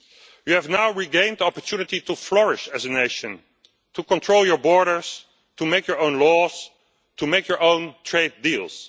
You have now regained the opportunity to flourish as a nation, to control your borders, to make their own laws and to make your own trade deals.